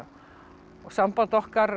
samband okkar